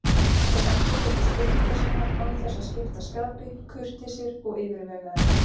Þeir endurtóku spurningar sínar án þess að skipta skapi, kurteisir og yfirvegaðir.